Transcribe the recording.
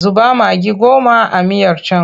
Zuba magi goma a miyar can!